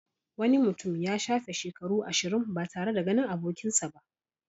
Wani mutum ya shafe shekaru ashirin ba tare da ganin abokinsa ba.